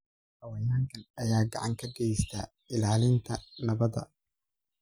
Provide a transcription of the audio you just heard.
Xayawaankan ayaa gacan ka geysta ilaalinta nabadda.